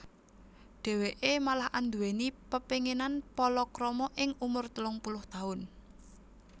Dhèwèké malah anduwèni pepénginan palakrama ing umur telung puluh taun